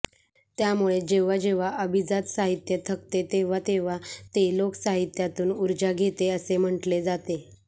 त्यामुळेच जेव्हा जेव्हा अभिजात साहित्य थकते तेव्हा तेव्हा ते लोकसाहित्यातून ऊर्जा घेते असे म्हटले जाते